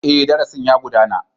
Ee, darasin ya gudana.